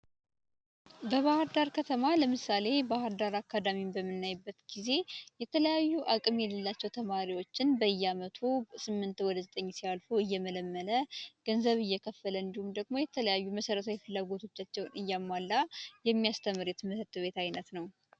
በባህርዳር ከተማ ለምሳሌ ባህርዳር አካዳሚን በምናይበት ጊዜ የተለያዩ አቅም የሌላቸው ተማሪዎችን በያመቱ ከስምንት ወደ ዘጠኝ ሲያልፉ እየመለመለ ገንዘብ እየከፈለ እንዲሁም ደግሞ የተለያዩ መሰረታዊ ፍላጎታቸውን እያሟላ የሚያስተምር የትምህርት አይነት ነው።